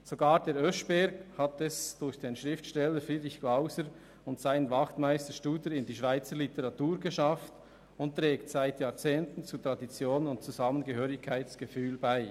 Sogar der Oeschberg hat es durch den Schriftsteller Friedrich Glauser und seinen Wachtmeister Studer in die Schweizer Literatur geschafft und trägt seit Jahrzehnten zur Tradition und zum Zusammengehörigkeitsgefühl bei.